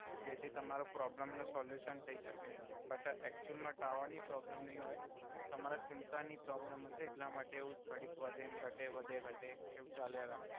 જેથી તમારા પ્રોબલમ નું સોલ્યુસન થઈ સકે બટ એકચુલ મા ટાવર ની પ્રોબલમ નઈ હોય તમાર સિમ કાર્ડ ની પ્રોબલમ હસે એટ્લા માટે એવુ થોડીક વધે ને ઘટે ને વધે ઘટે એવુ ચાલ્યા રાખે.